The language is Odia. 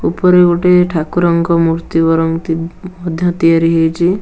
ଉପରେ ଗୋଟେ ଠାକୁରଙ୍କ ମୂର୍ତ୍ତି ବରଙ୍ଗ ମଧ୍ୟ ତିଆରି ହେଇଛି।